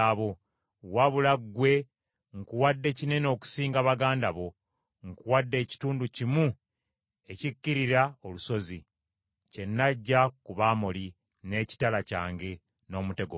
Wabula ggwe nkuwadde kinene okusinga baganda bo, nkuwadde ekitundu kimu ekikkirira olusozi, kye naggya ku Bamoli n’ekitala kyange n’omutego gwange.”